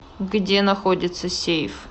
где находится сейф